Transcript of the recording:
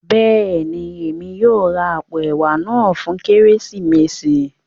Béèni, Èmi yóò rà apó ẹwà náà fún Kérésìmesì